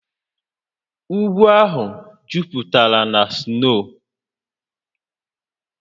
Ugwu ahụ jupụtara na sno